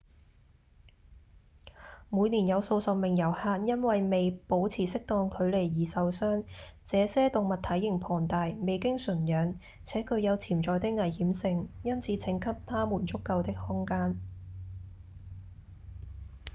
每年有數十名遊客因為未保持適當距離而受傷這些動物體型龐大、未經馴養且具有潛在的危險性因此請給牠們足夠的空間